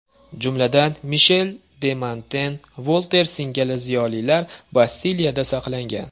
Jumladan, Mishel de Monten, Volter singari ziyolilar Bastiliyada saqlangan.